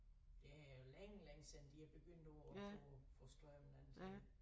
Det er længe længe siden de er begyndt på at få få strømmen til